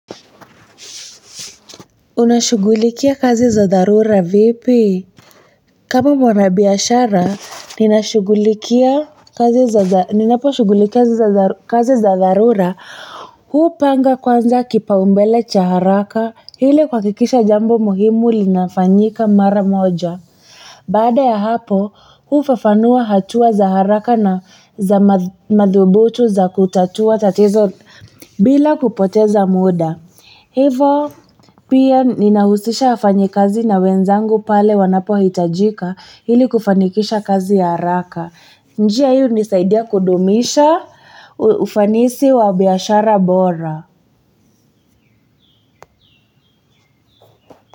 Unashughulikia kazi za dharura vipi kama mwanabiashara ninaposhughulikia kazi za dharura hupanga kwanza kipaumbele cha haraka ili kuhakikisha jambo muhimu linafanyika mara moja baada ya hapo hufafanua hatua za haraka na za madhubutu za kutatua tatizo bila kupoteza muda. Hivo pia ninahusisha wafanyi kazi na wenzangu pale wanapohitajika ili kufanikisha kazi ya haraka. Njia hii hunisaidia kudumisha ufanisi wa biashara bora.